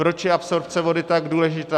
Proč je absorpce vody tak důležitá?